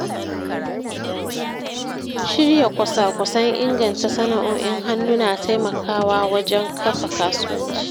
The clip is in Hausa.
Shirya kwasa-kwasan inganta sana’o’in hannu na taimakawa wajen kafa kasuwanci.